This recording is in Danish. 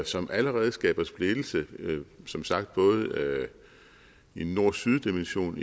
som allerede skaber splittelse som sagt både i en nord syd dimension